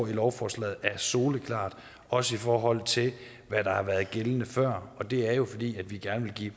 i lovforslaget er soleklart også i forhold til hvad der har været gældende før det er jo fordi vi gerne vil give